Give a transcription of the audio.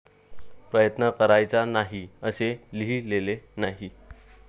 प्रयत्न करायचा नाही असे लिहिलेले नाही.